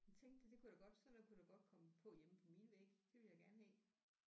Jeg tænkte da det kunne da godt sådan noget kunne der godt komme på hjemme på mine vægge det ville jeg gerne have